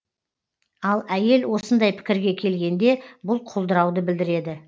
ал әйел осындай пікірге келгенде бұл құлдырауды білдіреді